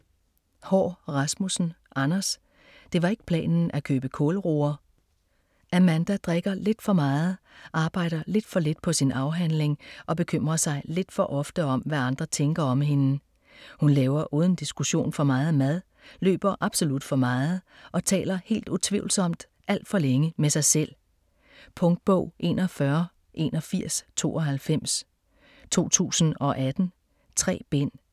Haahr Rasmussen, Anders: Det var ikke planen at købe kålroer Amanda drikker lidt for meget, arbejder lidt for lidt på sin afhandling og bekymrer sig lidt for ofte om hvad andre tænker om hende. Hun laver uden diskussion for meget mad, løber absolut for meget og taler helt utvivlsomt alt for længe med sig selv. Punktbog 418192 2018. 3 bind.